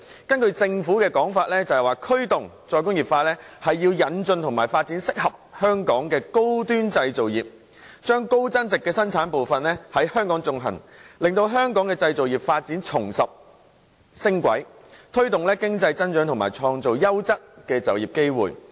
根據政府的說法，驅動"再工業化"是要引進及發展適合香港的高端製造業，將高增值的生產部分在香港進行，令香港製造業發展重拾升軌，推動經濟增長及創造優質的就業機會。